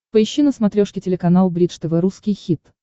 поищи на смотрешке телеканал бридж тв русский хит